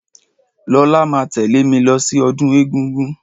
Lọlá máa tẹ̀lẹ́ mí lọ sí ọdún egúngún.